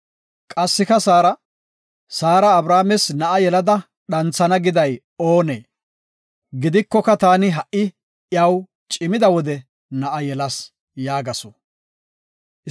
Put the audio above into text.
Qassika Saara, “Saara Abrahaames na7a yelada dhanthana giday oonee? Gidikoka taani ha7i iyaw I cimida wode na7a yelas” yaagasu.